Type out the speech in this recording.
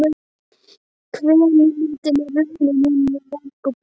Kvenímyndin er runnin honum í merg og bein.